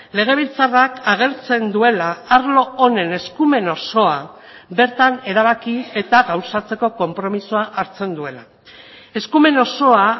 legebiltzarrak agertzen duela arlo honen eskumen osoa bertan erabaki eta gauzatzeko konpromisoa hartzen duela eskumen osoa